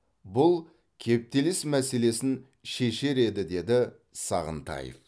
бұл кептеліс мәселесін шешер еді деді сағынтаев